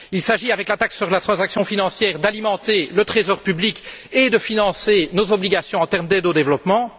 Il s'agit, avec la taxe sur les transactions financières, d'alimenter le trésor public et de financer nos obligations en termes d'aide au développement.